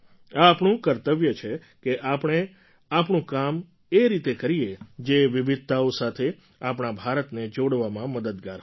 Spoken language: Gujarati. એ આપણું કર્તવ્ય છે કે આપણે આપણું કામ એ રીતે કરીએ જે વિવિધતાઓ સાથે આપણા ભારતને જોડવામાં મદદગાર હોય